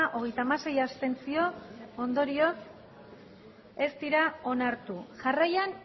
hogeita hamasei abstentzio ondorioz ez dira onartu jarraian